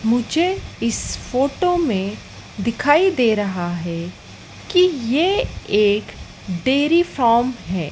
मुझे इस फोटो में दिखाई दे रहा है कि ये एक डेरी फॉम है।